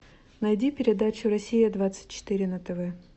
найди передачу россия двадцать четыре на тв